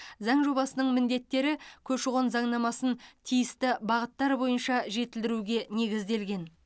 заң жобасының міндеттері көші қон заңнамасын тиісті бағыттар бойынша жетілдіруге негізделген